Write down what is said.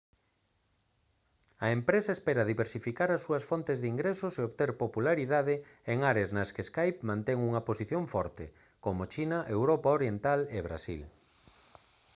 a empresa espera diversificar as súas fontes de ingresos e obter popularidade en áreas nas que skype mantén unha posición forte como china europa oriental e brasil